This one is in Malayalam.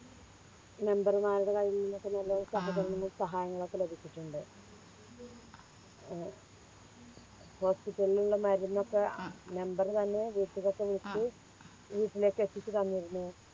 മന്ത്രിമാരുടെ കയിൽനിന്നൊക്കെ നല്ല സഹകരങ്ങളും സഹായങ്ങളും ഒക്കെ ലഭിച്ചിട്ടുണ്ട് ഏർ Hospital ൽ ഉള്ള മരുന്നൊക്കെ അഹ് member തന്നെ വീട്ടിലൊക്കെ വിളിച്ച് വീട്ടിലേക്ക് എത്തിച്ച് തന്നിരുന്നു